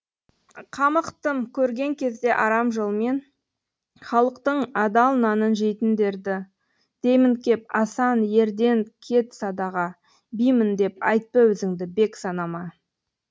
қамықтым көрген кезде арам жолмен халықтың адал нанын жейтіндерді деймін кеп асан ерден кет садаға бимін деп айтпа өзіңді бек санама